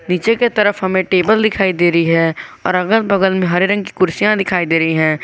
नीचे की तरफ हमें टेबल दिखाई दे रही है और अगर बगल में हरे रंग की कुर्सियां दिखाई दे रही है।